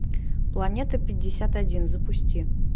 планета пятьдесят один запусти